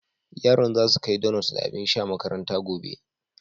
Yaran za su kai donut da abin sha makaranta gobe.